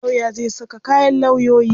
Lawya zai saka kayan lawyoyi.